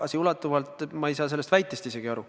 Tagasiulatuvalt – ma ei saa sellest väitest isegi aru.